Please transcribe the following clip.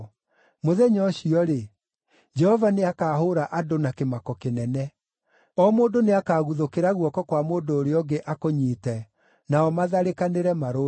Mũthenya ũcio-rĩ, Jehova nĩakahũũra andũ na kĩmako kĩnene. O mũndũ nĩakaguthũkĩra guoko kwa mũndũ ũrĩa ũngĩ akũnyiite, nao matharĩkanĩre marũe.